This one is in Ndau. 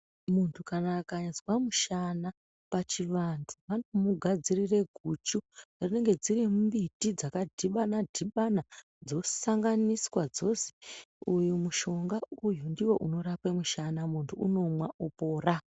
Muntu kana akanyazwa mushana pachivantu vanomugadzirire guchu rinenge rine mimbiti dzakadhibana dhibana dzosanganiswa dzozi uyu mushonga uyu ndiwo unorape mushana muntu unomwa opora.